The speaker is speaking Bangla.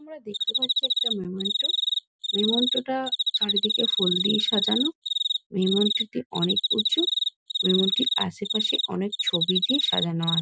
আমরা দেখতে পাচ্ছি একটা মেমেন্টো মেমেন্টো -টা চারিদিকে ফুল দিয়ে সাজানো মেমেন্টো -টি অনেক উঁচু মেমেন্টো -টির আশেপাশে অনেক ছবি দিয়ে সাজানো আ--